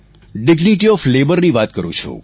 dignity of Labourની વાત કરું છું